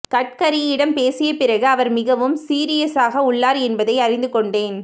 கட்கரியிடம் பேசிய பிறகு அவர் மிகவும் சீரியசாக உள்ளார் என்பதை அறிந்து கொண்டேன்